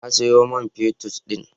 Na sayo man fetut din.